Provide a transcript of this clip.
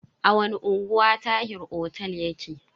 A wani unguwa Tahir otel yake?